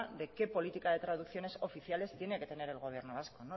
de qué política de traducciones oficiales tiene que tener el gobierno vasco